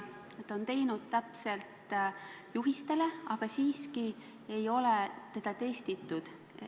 Ta on toiminud täpselt juhiste järgi, aga siiski ei ole teda testitud.